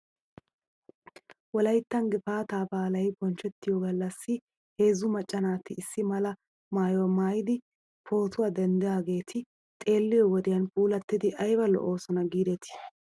Wolayttan gifaataa baalay bonchchettiyoo galassi heezzu macca naati issi mala maayuwaa maayidi pootuwaa denddidaageeti xeeliyoo wodiyan puulattidi ayba lo'oosona giidetii.